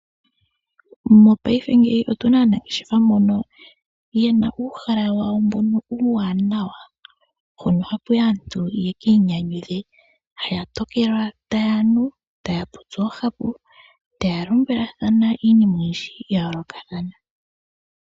Mopaife otuna aanangeshefa mbono yena uuhala wawo mbono uuwanawa, mpono hapu yi aantu ya ka inyanyudhe. Haya tokelwa taya nu, taya popi oohapu taya lombwelathana iinima oyindji ya yoolokathana.